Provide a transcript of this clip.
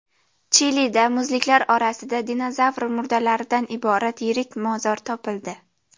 Chilida muzliklar orasida dinozavr murdalaridan iborat yirik mozor topildi.